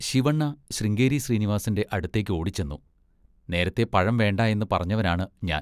ശിവണ്ണ ശൃംഗേരി ശ്രീനിവാസിൻ്റെ അടുത്തേക്കോടിച്ചെന്നു. നേരത്തെ പഴം വേണ്ട എന്ന് പറഞ്ഞവനാണ് ഞാൻ.